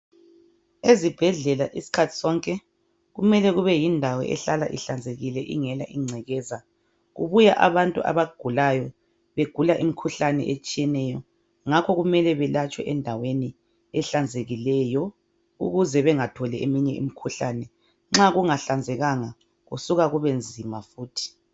Ezibhedlela isikhathi sonke kumele kube yindawo ehlala ihlanzekile ingela ingcekeza. Kubuya abantu abagulayo, begula imikhuhlane etshiyeneyo, ngakho kumele balatshwe endaweni ehlanzekileyo ukuze bangatholi eminnye imikhuhlane. Nxa kungahlanzekanga ukusuka kube nzima futhi.